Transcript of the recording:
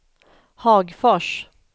Hagfors